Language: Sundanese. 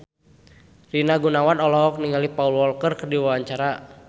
Rina Gunawan olohok ningali Paul Walker keur diwawancara